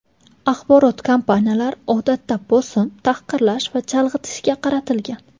Axborot kampaniyalari, odatda, bosim, tahqirlash va chalg‘itishga qaratilgan.